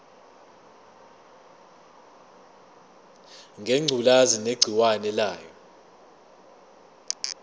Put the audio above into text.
ngengculazi negciwane layo